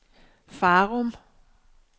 Farum